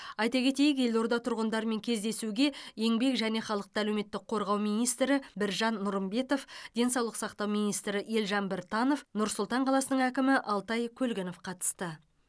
айта кетейік елорда тұрғындарымен кездесуге еңбек және халықты әлеуметтік қорғау министрі біржан нұрымбетов денсаулық сақтау министрі елжан біртанов нұр сұлтан қаласының әкімі алтай көлгінов қатысты